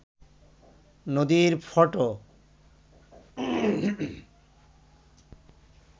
নদীর ফটো